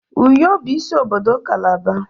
Uyo bụ isi obodo kalaba.